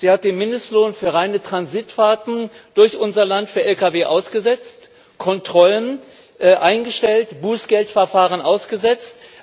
Sie hat den Mindestlohn für reine Transitfahrten durch unser Land für Lkw ausgesetzt, Kontrollen eingestellt, Bußgeldverfahren ausgesetzt.